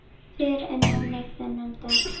Fyrr en núna þennan dag.